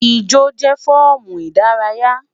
Ijo jẹ fọọmu idaraya